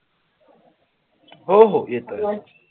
हो हो येतोय